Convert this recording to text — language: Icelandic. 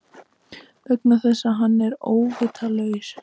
Vegna þess að hann er óvitlaus.